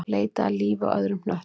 Leita að lífi á öðrum hnöttum